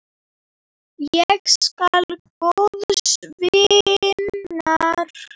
Ég sakna góðs vinar.